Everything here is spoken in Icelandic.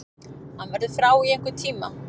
Hann verður frá í einhvern tíma.